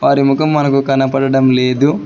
వారి ముఖం మనకు కనబడడం లేదు.